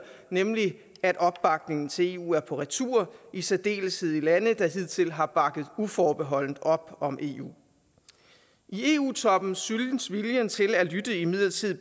at opbakningen til eu er på retur og det i særdeleshed i lande der hidtil har bakket uforbeholdent op om eu i eu toppen synes viljen til at lytte imidlertid